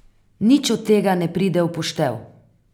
Nič od tega ne pride v poštev.